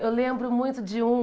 Eu lembro muito de um...